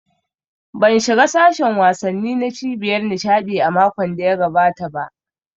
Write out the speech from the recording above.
Ban shiga sashin wasanni na cibiyar nishaɗi a makon da ya gabata ba